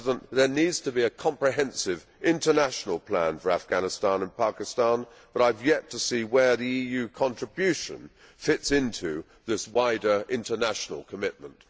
There needs to be a comprehensive international plan for Afghanistan and Pakistan, but I have yet to see where the EU contribution fits into this wider, international commitment.